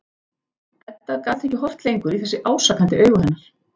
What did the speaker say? Edda gat ekki horft lengur í þessi ásakandi augu hennar.